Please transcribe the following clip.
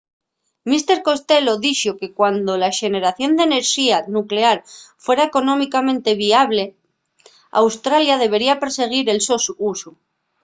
mr costello dixo que cuando la xeneración d’enerxía nuclear fuera económicamente viable australia debería persiguir el so usu